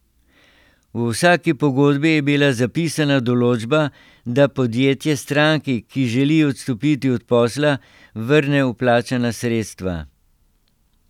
V vsaki pogodbi je bila zapisana določba, da podjetje stranki, ki želi odstopiti od posla, vrne vplačana sredstva.